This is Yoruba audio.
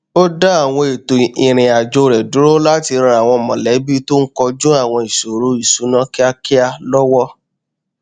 ó dá àwọn ètò ìrìn àjò rẹ dúró láti ran àwọn mọlẹbí tó n kojú àwọn ìṣoro ìṣúná kíákíá lọwọ